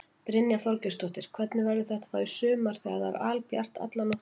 Brynja Þorgeirsdóttir: Hvernig verður þetta þá í sumar þegar það er albjart alla nóttina?